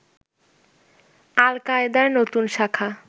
আল-কায়েদার নতুন শাখা